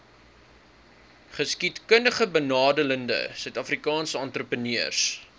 geskiedkundigbenadeelde suidafrikaanse entrepreneurs